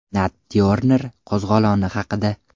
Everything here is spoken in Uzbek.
Nat Tyorner qo‘zg‘oloni haqida.